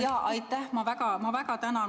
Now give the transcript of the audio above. Jaa, aitäh, ma väga tänan!